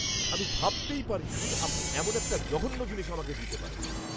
আমি ভাবতেই পারিনি, আপনি এমন একটা জঘন্য জিনিস আমাকে দিতে পারেন।